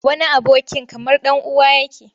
Wani abokin kamar ɗan uwa yake.